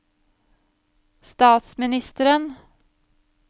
statsministeren